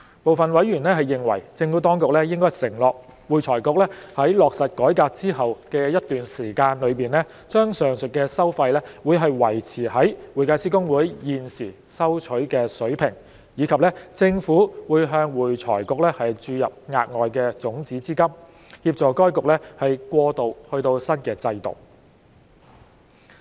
部分委員認為，政府當局應承諾會財局在落實改革之後的一段時間內，把上述的收費維持於會計師公會現時收取的水平，以及政府會向會財局注入額外種子資金，協助該局過渡至新制度。